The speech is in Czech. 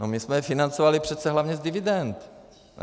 No my jsme je financovali přece hlavně z dividend, ne?